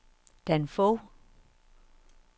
Dan Fogh